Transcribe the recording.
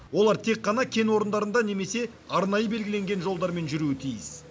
олар тек қана кен орындарында немесе арнайы белгіленген жолдармен жүруі тиіс